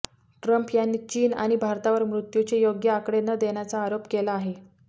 Trump यांनी चीन आणि भारतावर मृत्यूचे योग्य आकडे न देण्याचा आरोप केला आहे